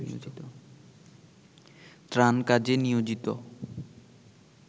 ত্রাণ কাজে নিয়োজিত